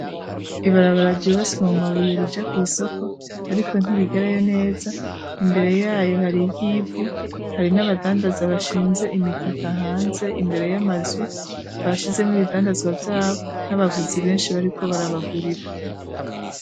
Ibarabara ryubatswe mu mabuye rija kwisoko ariko ntirigerayo neza imbere yayo hari y'ivu hari n'abadandazi bashinze imitaka hanze imbere y'amazu bashizeho ibidandazwa vyabo , n'abaguzi benshi bariko barabagurira.